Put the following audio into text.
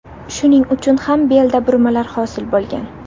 Shuning uchun ham belda burmalar hosil bo‘lgan.